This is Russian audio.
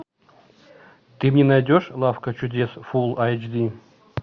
ты мне найдешь лавка чудес фулл айч ди